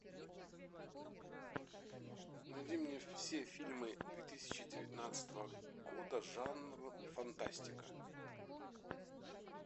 найди мне все фильмы две тысячи девятнадцатого года жанр фантастика